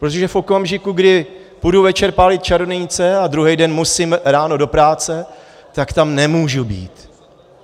Protože v okamžiku, kdy půjdu večer pálit čarodějnice a druhý den musím ráno do práce, tak tam nemůžu být.